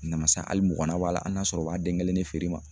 Namasa hali muuganan b'ala a n'a sɔrɔ o b'a den kelen de feere i ma.